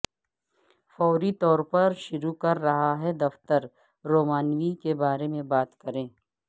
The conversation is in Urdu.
فوری طور پر شروع کر رہا ہے دفتر رومانوی کے بارے میں بات کریں